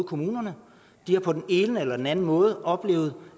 kommunerne på den ene eller enden måde har oplevet